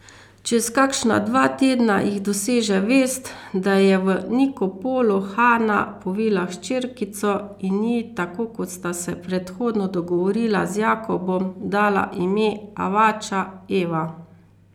Čez kakšna dva tedna jih doseže vest, da je v Nikopolu Hana povila hčerkico in ji, tako kot sta se predhodno dogovorila z Jakobom, dala ime Avača, Eva.